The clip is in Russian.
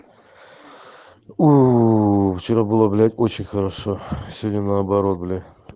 вчера было блять очень хорошо сегодня наоборот блять